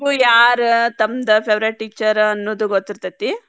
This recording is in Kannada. ಯಾರ್ ತಮ್ದ್ favourite teacher ಅನ್ನುದು ಗೊತ್ತಿರತೇತಿ.